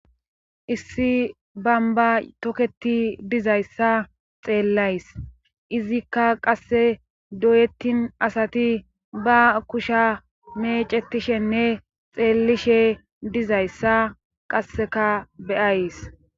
Issi bamba toketi dizayssa xeellays izikka qasse doyettin asati ba kusha meecetishenne xeellishe dizayssa qasseka beyays.